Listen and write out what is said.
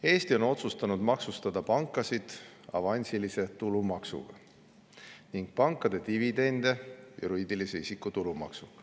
Eesti on otsustanud maksustada pankasid avansilise tulumaksuga ning pankade dividende juriidilise isiku tulumaksuga.